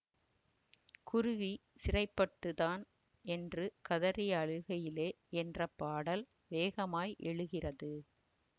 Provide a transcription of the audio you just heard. குருவி சிறைபட்டு தான் என்று கதறி அழுகையிலே என்ற பாடல் வேகமாய் எழுகிறது